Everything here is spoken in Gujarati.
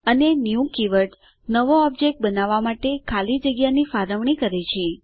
અને ન્યૂ કીવર્ડ નવો ઓબજેક્ટ બનાવવા માટે ખાલી જગ્યાની ફાળવણી કરે છે